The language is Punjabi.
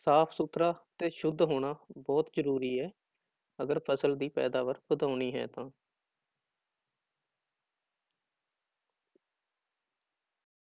ਸਾਫ਼ ਸੁਥਰਾ ਤੇ ਸੁੱਧ ਹੋਣਾ ਬਹੁਤ ਜ਼ਰੂਰੀ ਹੈ ਅਗਰ ਫ਼ਸਲ ਦੀ ਪੈਦਾਵਾਰ ਵਧਾਉਣੀ ਹੈ ਤਾਂ।